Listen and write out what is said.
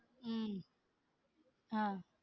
உம் அஹ்